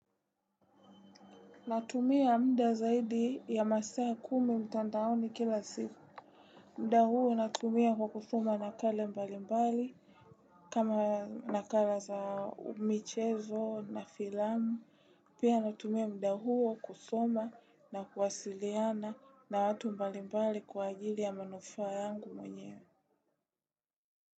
Natumia muda zaidi ya masaa kumi mtandaoni kila siku. Muda huo natumia kwa kusoma nakala mbali mbali kama nakala za michezo na filamu. Pia natumia muda huo kusoma na kuwasiliana na watu mbali mbali kwa ajili ya manufaa yangu mwenyewe.